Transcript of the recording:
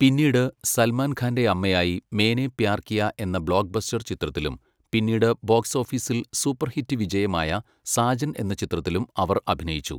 പിന്നീട് സൽമാൻ ഖാൻ്റെ അമ്മയായി 'മേനേ പ്യാർ കിയാ' എന്ന ബ്ലോക്ക്ബസ്റ്റർ ചിത്രത്തിലും പിന്നീട് ബോക്സ് ഓഫീസിൽ സൂപ്പർഹിറ്റ് വിജയമായ 'സാജൻ' എന്ന ചിത്രത്തിലും അവർ അഭിനയിച്ചു.